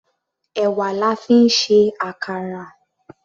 Èwà la fi ń ṣe àkàrà.